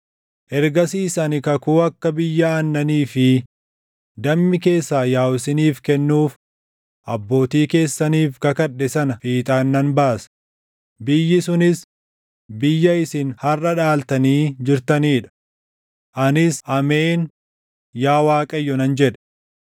Ergasiis ani kakuu akka biyya aannanii fi dammii keessaa yaaʼu isaaniif kennuuf abbootii keessaniif kakadhe sana fiixaan nan baasa;’ biyyi sunis biyya isin harʼa dhaaltanii jirtanii dha.” Anis “Ameen, Yaa Waaqayyo” nan jedhe.